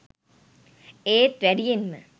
ඒත් වැඩියෙන්ම